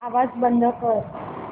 आवाज बंद कर